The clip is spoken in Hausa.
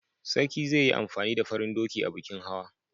Sarki zai yi amfani da farin doki a bikin hawa.